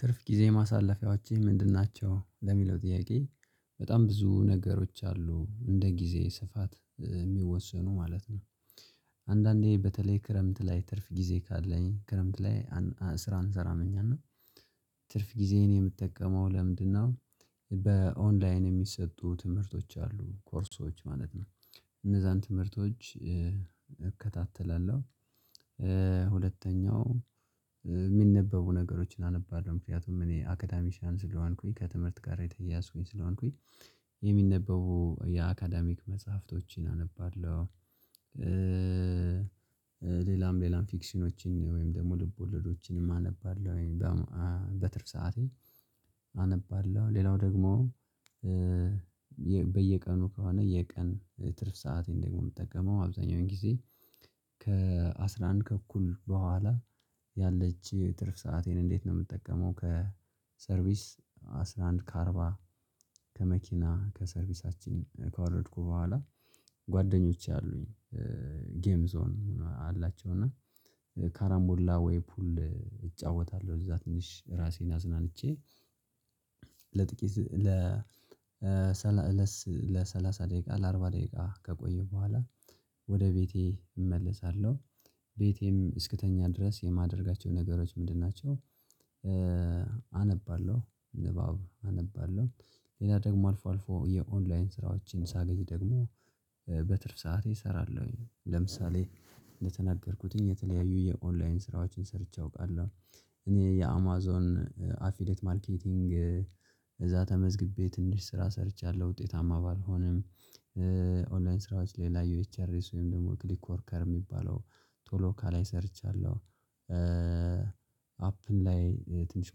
ትርፍ ጊዜ ማሳለፊያዎችህ ምንድን ናቸው ለሚለው ጥያቄ በጣም ብዙ ነገሮች አሉ እንደ ጊዜ ስፋት የሚወሰኑ ማለት ነው። አንዳንዴ በተለይ ክረምት ላይ ትርፍ ጊዜ ካለኝ ክረምት ላይ ስራ አንሰራም እና ትርፍ ጊዜዬን የምጠቀመው ለምንድነው? በኦንላይን የሚሰጡ ትምህርቶች አሉ ኮርሶች ማለት ነው። እነዛን ትምህርቶች እከታተላለሁ። ሁለተኛው የሚነበቡ ነገሮችን አነባለሁ ምክንያቱም እኔ አካዳሚሻን ስለሆንኩኝ ከትምህርት ጋር የተያያዝኩኝ ስለሆንኩኝ። የሚነበቡ የአካየሚክ መጽሐፍቶችን አነባለሁ። ሌላም ሌላም ፊክሽኖችን ወይም ደግሞ ልብ ወለዶችንም አነባለሁ። በትርፍ ሰዓቴ አነባለሁ ሌላው ደግሞ። በየቀኑ ከሆነ የቀን ትርፍ ሰአቴን ደግሞ የምጠቀመው አብዛኛውን ጊዜ ከአሥራ አንድ ከኩል በኋላ። ያለች ትርፍ ሰአቴን እንዴት ነው የምጠቀመው? ከሰርቪስ አስራ አንድ ከአርባ ከመኪና ከሰርቪሳችን ካወረድኩ በኋላ ጓደኞቼ አሉኝ። ጌም ዞን አላቸው እና ካራምቦላ ወይ ፑል እጫወታለሁ እዛ ትንሽ ራሴን አዝናንቼ። ለጥቂት ለሰላሳ ለሰላሳ ደቂቃ ለአርባ ደቂቃ ከቆየ በኋላ። ወደ ቤቴ እመለሳለሁ። ቤቴም እስክተኛ ድረስ የማደርጋቸው ነገሮች ምንድን ናቸው? አነባለሁ ንባብ አነባለሁ። ሌላ ደግሞ አልፎ አልፎ የኦንላይን ስራዎችን ሳገዝ ደግሞ በትርፍ ሰዓቴ እሰራለሁኝ። ለምሳሌ እንደተናገርኩትኝ የተለያዩ የኦንላይን ስራዎችን ሰርቼ አውቃለሁ። እኔ የአማዞን አፊሌት ማርኬቲንግ እዛ ተመዝግቤትንሽ ስራ ሰርቻለሁ ውጤታማ ባልሆንም። ኦንላይን ስራዎች ሌላ ዩኤችኤርኤስ ወይም ደግሞ ክሊክ ወርከር የሚባለው ቶሎ ካላይ ሰርቻለሁ። አፕን ላይ ትንሽ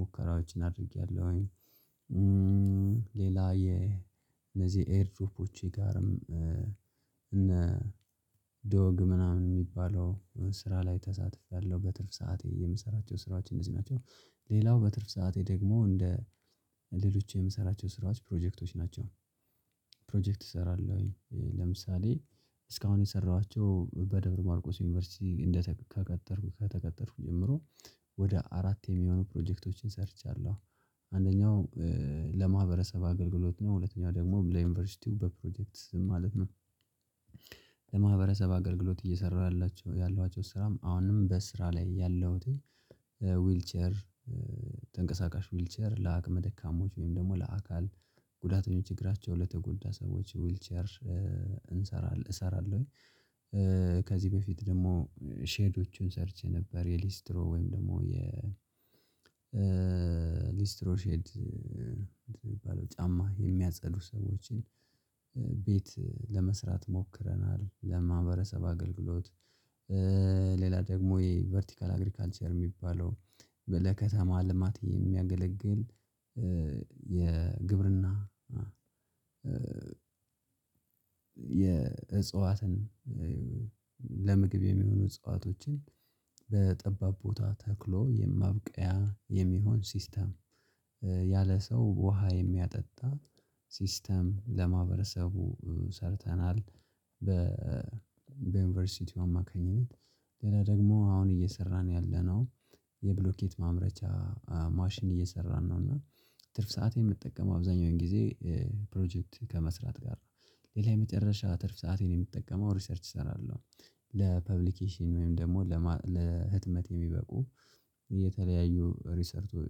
ሙከራዎችን አድርጌያለሁኝ። ሌላ የ እነዚህ ኤርድሮፖች ጋርም እነ ዶግ ምናምን የሚባለው ስራ ላይ ተሳትፌያለሁ። በትርፍ ሰዓቴ የምሰራቸው ስራዎች እዚህ ናቸው። ሌላው በትርፍ ሰዓቴ ደግሞ እንደ ሌሎች የምሰራቸው ስራዎች ፕሮጀክቶች ናቸው። ፕሮጀክት እሰራለሁኝ ለምሳሌ እስካሁን የሰራኋቸው በደብረ ማርቆስ ዩኒቨርሲቲ እንደተቀጠርኩ ከተቀጠርኩ ጀምሮ ወደ አራት የሚሆኑ ፕሮጀክቶችን ሰርቻለሁ። አንደኛው ለማህበረሰብ አገልግሎት ነው ሁለተኛው ደግሞ ብለህ ዩኒቨርሲቲው በፕሮጀክት ማለት ነው። ለማህበረሰብ አገልግሎት እየሰራሁላቸው ያለኋቸው ስራም አሁንም በስራ ላይ ያለሁትኝ። ዊልቸር ተንቀሳቃሽ ዊልቸር ለአቅመ ደካማዎች ወይም ደግሞ ለአካል ጉዳተኞች ችግራቸው ለተጎዳ ሰዎች ዊልቸር እንሰራለን እሰራለሁኝ። ከዚህ በፊት ደግሞ ሼዶቹን ሰርቼ ነበር። የሊስትሮ ወይም ደግሞ የ ሊስትሮሼድ የሚባለው ጫማ የሚያጸዱ ሰዎችን ቤት ለመስራት ሞክረናል ለማህበረሰብ አገልግሎት። ሌላ ደግሞ የቨርቲካል አግሪካልቸር የሚባለው በ ከ ለከተማ ልማት የሚያገለግል የግብርና የእጽዋትን ለምግብ የሚሆኑ እፅዋቶችን በጠባብ ቦታ ተክሎ የማብቀያ የሚሆን ሲስተም ያለ ሰው ውሃ የሚያጠጣ ሲስተም ለማህበረሰቡ ሰርተናል። በ በዩኒቨርሲቲው አማካኝነት ሌላ ደግሞ አሁን እየሰራን ያለነው የብሎኬት ማምረቻ ማሽን እየሰራን ነው። እና ትርፍ ሰዓት የምጠቀመው አብዛኛውን ጊዜ ፕሮጀክት ከመስራት ጋር ነው። ሌላ የመጨረሻ ትርፍ ሰአቴን የምትጠቀመው ሪሰርች እሰራለሁ። ለፐብሊኬሽን ወይም ደግሞ ለህትመት የሚበቁ የተለያዩ ሪሰርቶች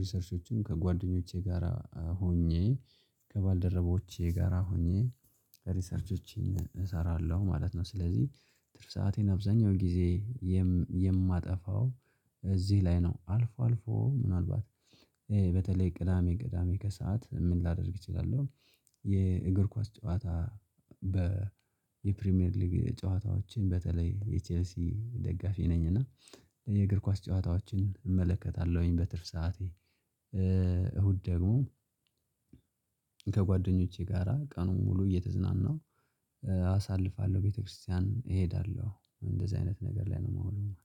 ሪሰርቾችን ከጓደኞቼ ጋራ ሆኜ ከባልደረቦቼ ጋራ ሆኜ ሪሰርቾችን እሰራለሁ ማለት ነው ስለዚህ። ትርፍ ሰአቴን አብዛኛው ጊዜ የማጠፋው እዚህ ላይ ነው። አልፎ አልፎ ምናልባት በተለይ ቅዳሜ ቅዳሜ ከሰአት ምን ላደርግ እችላለሁ። የእግር ኳስ ጨዋታ በ የፕሪሚየር ሊግ ጨዋታዎችን በተለይ የቼልሲ ደጋፊ ነኝ እና የእግር ኳስ ጨዋታዎችን እመለከታለሁኝ። በትርፍ ሰዓቴ። እሁድ ደግሞ ከጓደኞቼ ጋራ ቀኑን ሙሉ እየተዝናናሁ አሳልፋለሁ ቤተክርስቲያን እሄዳለሁ እንደዚህ አይነት ነገር ላይ ነው። የማውለው